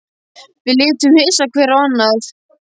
Við litum hissa hver á annan.